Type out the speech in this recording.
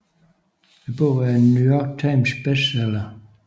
Bogen er en New York Times bestseller